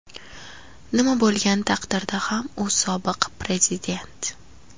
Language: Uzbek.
Nima bo‘lgan taqdirda ham u sobiq prezident.